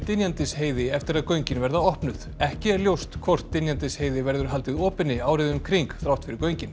Dynjandisheiði eftir að göngin verða opnuð ekki er ljóst hvort Dynjandisheiði verður haldið opinni árið um kring þrátt fyrir göngin